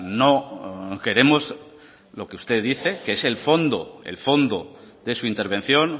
no queremos lo que usted dice que es el fondo el fondo de su intervención